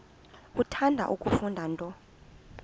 uthanda kufunda nto